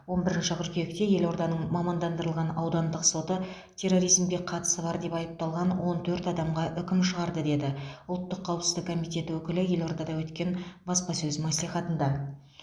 он бірінші қыркүйекте елорданың мамандандырылған аудандық соты терроризмге қатысы бар деп айыпталған он төрт адамға үкім шығарды деді ұлттық қауіпсіздік комитеті өкілі елордада өткен баспасөз мәслихатында